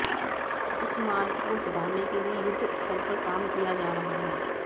इस मार्ग को सुधारने के लिए युद्ध स्तर पर काम किया जा रहा है